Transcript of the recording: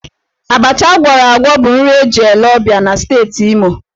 Abacha ágwọ̀rọ̀ ágwọ̀ bụ nri eji ele ọ̀bịá na Steeti Imo.